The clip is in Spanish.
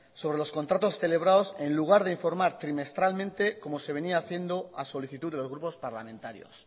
sobre los contratos celebrados en lugar de informar trimestralmente como se venía haciendo a solicitud de los grupos parlamentarios